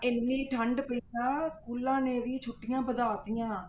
ਇੰਨੀ ਠੰਢ ਪਈ ਆ schools ਨੇ ਵੀ ਛੁੱਟੀਆਂ ਵਧਾ ਦਿੱਤੀਆਂ।